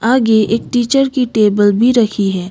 आगे एक टीचर कि टेबल भी रखी हैं।